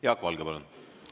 Jaak Valge, palun!